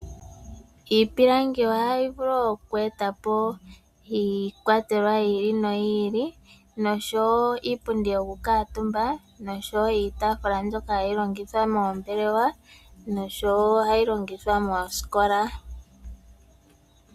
Iipilangi ohayi vulu oku eta po iikwatelwa yi ili noyi ili nosho wo iipundi yoku kutumba nosho wo iitafula mbyoka hayi longithwa moombelewa noshowo ohayi longithwa moosikola.